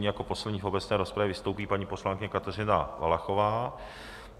Jako poslední v obecné rozpravě vystoupí paní poslankyně Kateřina Valachová.